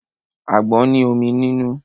Àgbọn ní omi nínú.